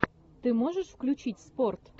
ты можешь включить спорт